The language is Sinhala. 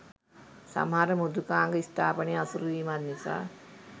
සමහර මෘදුකාංග ස්ථාපනය අසීරු වීමත් නිසා